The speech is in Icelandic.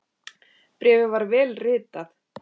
Bréfið var vel ritað.